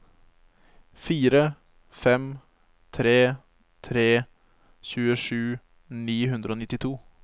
fire fem tre tre tjuesju ni hundre og nittito